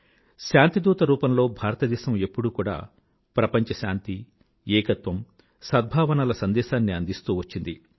శాంతిదూత రూపంలో భారతదేశం ఎప్పుడూ కూడా ప్రపంచ శాంతి ఏకత్వం సద్భావనల సందేశాన్ని అందిస్తూ వచ్చింది